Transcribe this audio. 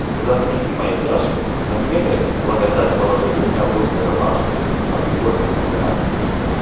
за грехи мои тяжкие за неверие благодать положили меня в русской рубашке под иконами умирать